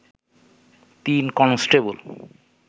তিন কনস্টেবল